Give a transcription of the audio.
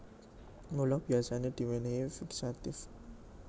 Mula biyasané diwénéhi fixative